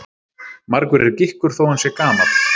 Margur er gikkur þó hann sé gamall.